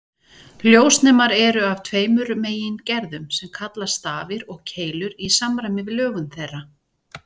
Ljósnemar eru af tveimur megingerðum sem kallast stafir og keilur í samræmi við lögun þeirra.